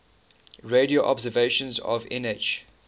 radio observations of nh